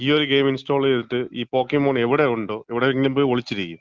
ഈയൊരു game install ചെയ്തിട്ട് ഈ പോക്കീമൂൺ എവിടെയുണ്ടോ, എവിടേങ്കിലും പോയി ഒളിച്ചിരിക്കും.